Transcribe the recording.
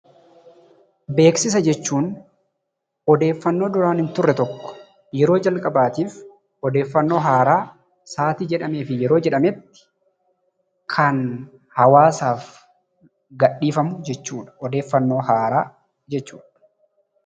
Beeksisa jechuun odeeffannoo duraan hin turre tokko yeroo jalqabaatiif odeeffannoo haaraa yeroo jedhametti kan hawaasaaf gadhiifamu jechuudha. Odeeffannoo haaraa jechuudha.